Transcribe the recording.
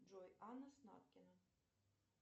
джой анна снаткина